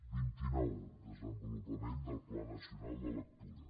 vint i nou desenvolupament del pla nacional de lectura